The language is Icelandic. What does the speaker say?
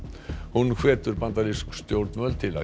hún hvetur bandarísk stjórnvöld til að